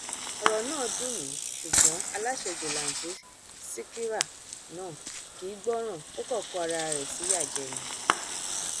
ọrọ náà dùn mí ṣùgbọn aláṣejù launti sịkírà náà kì í gbọràn ó kàn kó ara ẹ síyá jẹ ni